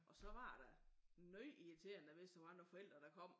Og så var det da noget irriterende når hvis der var andre forældre der kom